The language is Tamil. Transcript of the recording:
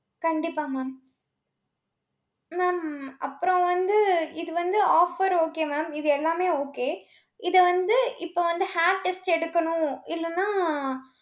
கண்டிப்பா mam mam அப்புறம் வந்து இது வந்து offer okay mam இது எல்லாமே okay இதை வந்து இப்ப வந்து hair test எடுக்கணும். இல்லைன்னா